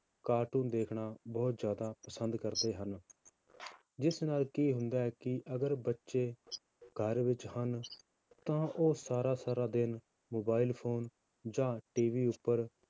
Cartoon ਦੇਖਣਾ ਬਹੁਤ ਜ਼ਿਆਦਾ ਪਸੰਦ ਕਰਦੇ ਹਨ ਜਿਸ ਨਾਲ ਕੀ ਹੁੰਦਾ ਹੈ ਕਿ ਅਗਰ ਬੱਚੇ ਘਰ ਵਿੱਚ ਹਨ, ਤਾਂ ਉਹ ਸਾਰਾ ਸਾਰਾ ਦਿਨ mobile phone ਜਾਂ TV ਉੱਪਰ